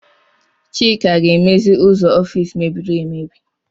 Chika ga-emezi ụzọ ọfis mebiri emebi.